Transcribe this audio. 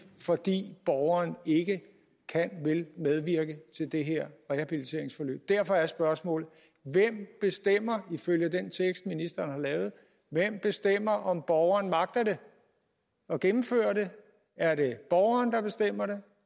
fordi borgeren ikke kanvil medvirke til det her rehabiliteringsforløb derfor er spørgsmålet hvem bestemmer ifølge den tekst ministeren har lavet om borgeren magter at gennemføre det er det borgerne der bestemmer det